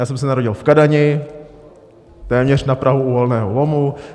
Já jsem se narodil v Kadani, téměř na prahu uhelného lomu.